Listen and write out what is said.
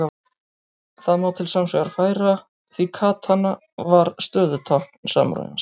Það má til sanns vegar færa því katana var stöðutákn samúræjans.